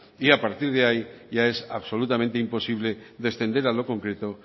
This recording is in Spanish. y a partir de ahí ya es absolutamente imposible descender a lo concreto